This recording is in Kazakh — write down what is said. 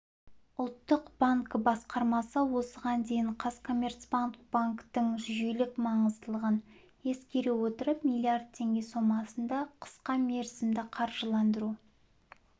ұлттық банк басқармасы осыған дейін қазкоммерцбанк банктің жүйелік маңыздылығын ескере отырып миллиард теңге сомасында қысқамерзімді қаржыландыру